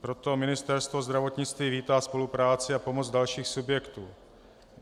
Proto Ministerstvo zdravotnictví vítá spolupráci a pomoc dalších subjektů.